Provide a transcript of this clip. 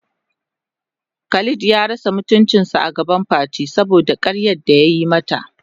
Khalid ya rasa mutuncin agaban Fati saboda karyar da yayi mata.